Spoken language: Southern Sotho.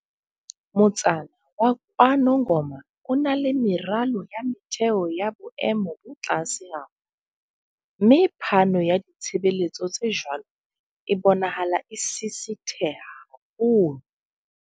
Motsana wa KwaNongoma o na le meralo ya motheo ya boemo bo tlase haholo, mme phano ya ditshebeletso tse jwalo e bonahala e sisitheha haholo.